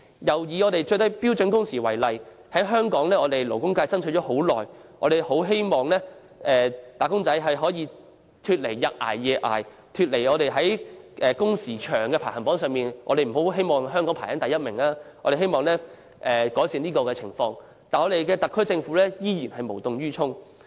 又以標準工時為例，香港勞工界爭取多時，希望"打工仔"得以擺脫"日捱夜捱"的困境，香港不用長踞全球勞工工時排行榜榜首之位，僱員工作情況得以改善，唯特區政府卻無動於衷。